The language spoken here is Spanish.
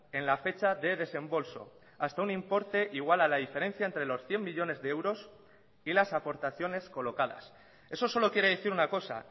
en la fecha de desembolso hasta un importe igual a la diferencia entre los cien millónes de euros y las aportaciones colocadas eso solo quiere decir una cosa